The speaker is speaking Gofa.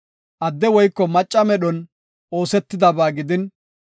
Adde woyko macca medhon oosetidaba gidin,